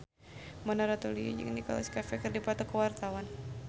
Mona Ratuliu jeung Nicholas Cafe keur dipoto ku wartawan